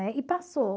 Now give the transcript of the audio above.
Né? E passou.